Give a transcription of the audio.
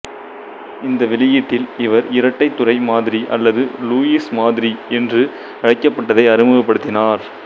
இந்த வெளியீட்டில் இவர் இரட்டை துறை மாதிரி அல்லது லூயிஸ் மாதிரி என்று அழைக்கப்பட்டதை அறிமுகப்படுத்தினார்